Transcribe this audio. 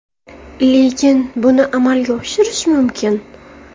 Lekin buni amalga oshirish mumkin.